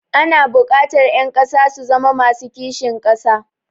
Ana buƙatar ƴan ƙasa su zama masu kishin ƙasa.